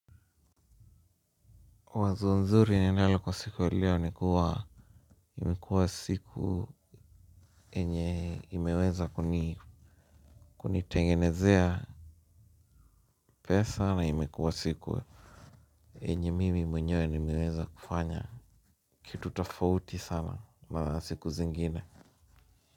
Wazo nzuri ninalo kwa siku ya leo ni kuwa imekuwa siku yenye imeweza kunitengenezea pesa na imekuwa siku yenye mimi mwenyewe nimeweza kufanya kitu tafauti sana na siku zingine.